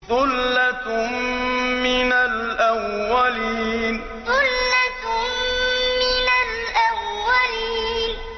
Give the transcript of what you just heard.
ثُلَّةٌ مِّنَ الْأَوَّلِينَ ثُلَّةٌ مِّنَ الْأَوَّلِينَ